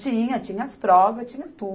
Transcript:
Tinha, tinha as provas, tinha